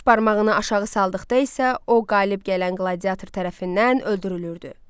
Baş barmağını aşağı saldıqda isə o qalib gələn qladiator tərəfindən öldürülürdü.